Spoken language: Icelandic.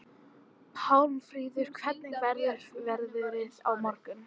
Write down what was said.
Pálmfríður, hvernig verður veðrið á morgun?